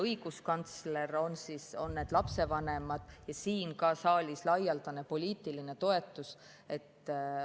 Õiguskantsler, need lapsevanemad ja ka siin saalis on laialdane poliitiline toetus.